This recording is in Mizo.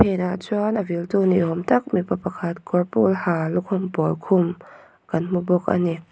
phenah chuan a vil tu ni awm tak mipa pakhat kawr pawl ha lukhum pawl khum kan hmu bawk ani.